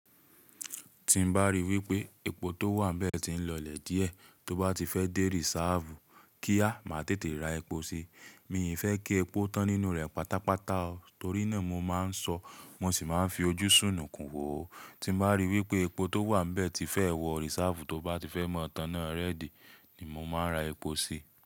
Tí n bá rí wípé epo tó wà nbẹ̀ tí ń lọlẹ̀ díẹ̀, tó bá ti fẹ́ dé rísáàfù kía má tètè ra epo sí. Mí ì fẹ́ kí epo tán nínú rẹ̀ pátápátá o, torí náà mo máa ń ṣọ, wọ́n sì máa ń fi ojú sùnnùkún wò. Tí n bá rí wípé epo tó wà nbẹ̀ ti fẹ́ wọ rísáàfù tó bá ti fẹ́ mọ tán náà rẹ́dì ni mo máa ra epo sí.